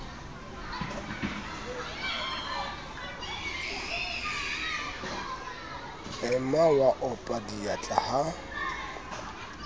ema wa opa diatla ha